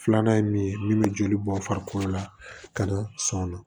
Filanan ye min ye min bɛ joli bɔ farikolo la ka na sɔn o ma